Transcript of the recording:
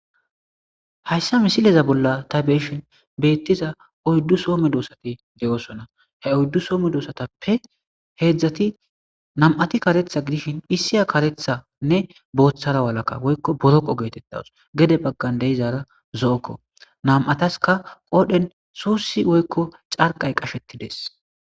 Hayssa misileza bolla ta beeshin beettiza oyddu soome doossati de7osona he oyddu soome doossatappe heedzdzati nam7ati karetha gidishin hisiya karethanne booththara walaka woykko boroqo geetettawus gede baggan deizaara zo'okko nam7ataska qoodhen suussi woykko carqay qashettides.